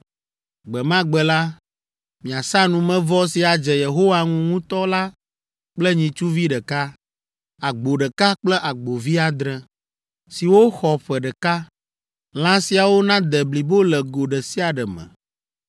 Gbe ma gbe la, miasa numevɔ si adze Yehowa ŋu ŋutɔ la kple nyitsuvi ɖeka, agbo ɖeka kple agbovi adre, siwo xɔ ƒe ɖeka. Lã siawo nade blibo le go ɖe sia ɖe me.